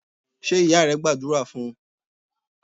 Ṣé ìyá rẹ gbàdúrà fún un?